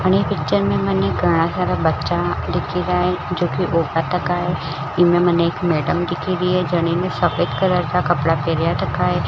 आणि पिक्चर में मने घाना सारा बच्चा दिखी रहा है जो की है इनमे मने एक मैडम दिखिरये जने सफ़ेद कलर का कपडा पहना रखा है।